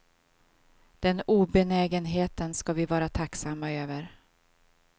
Den obenägenheten skall vi vara tacksamma över.